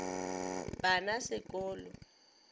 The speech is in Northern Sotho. ba na se ko lo